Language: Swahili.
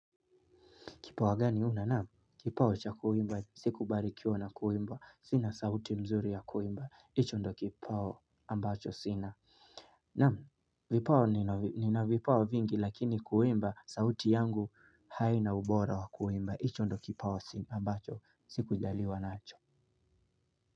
Kipawa gani wewe unao kipawa cha kuimba sikubarikiwa na kuimba sina sauti mzuri ya kuimba hicho ndo kipawa ambacho sina na nina vipawa vingi lakini kuimba sauti yangu haina ubora wa kuimba hicho ndio kipawa ambacho sikujaliwa nacho.